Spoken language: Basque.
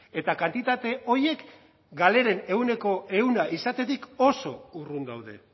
eta kantitate horiek galeren ehuneko ehun izatetik oso urrun daude